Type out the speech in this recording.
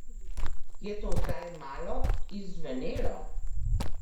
Je to zdaj malo izzvenelo?